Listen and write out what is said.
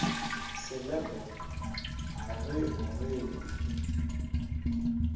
selepe a re o rema